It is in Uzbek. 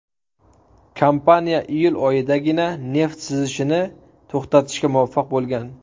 Kompaniya iyul oyidagina neft sizishini to‘xtatishga muvaffaq bo‘lgan.